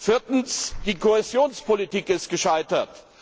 Viertens, die Kohäsionspolitik ist gescheitert.